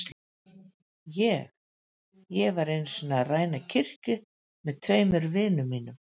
Ég. ég var einu sinni að ræna kirkju með tveimur vinum mínum.